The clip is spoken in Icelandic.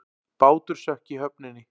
Bátur sökk í höfninni